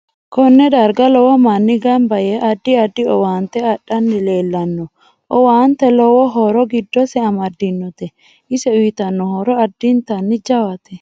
Konne darga lowo manni ganba yee addi addi owaante adhani leelanno owaante lowo horo giddose amadinote ise uyiitano horo addinta jawatte